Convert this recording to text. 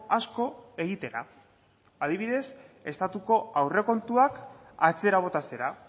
asko egitera adibidez estatuko aurrekontuak atzera botatzera